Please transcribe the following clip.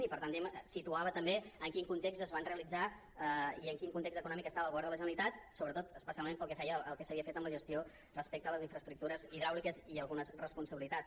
i per tant diguem ne situava també en quin context es van realitzar i en quin context econòmic estava el govern de la generalitat sobretot especialment pel que feia al que s’havia fet amb la gestió respecte a les infraestructures hidràuliques i algunes responsabilitats